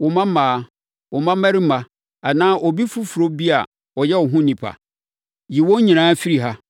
wo mmammaa, wo mmammarima anaa obi foforɔ bi a ɔyɛ wo ho onipa? Yi wɔn nyinaa firi ha,